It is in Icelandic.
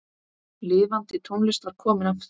Lifandi tónlist var komin aftur.